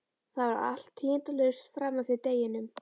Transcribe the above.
Það var allt tíðindalaust fram eftir deginum.